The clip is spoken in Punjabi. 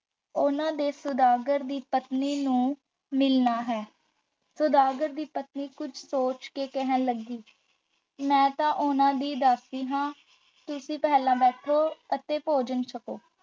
ਉਹਨਾਂ ਨੇ ਸੁਦਾਗਰ ਦੀ ਪਤਨੀ ਨੂੰ ਮਿਲਣਾ ਹੈ ਸੁਦਾਗਰ ਦੀ ਪਤਨੀ ਕੁੱਝ ਸੋਚ ਕੇ ਕਹਿਣ ਲੱਗੀ, ਮੈਂ ਤਾਂ ਉਹਨਾਂ ਦੀ ਦਾਸੀ ਹਾਂ ਤੁਸੀਂ ਪਹਿਲਾਂ ਬੈਠੋ ਅਤੇ ਭੋਜਨ ਛਕੋ।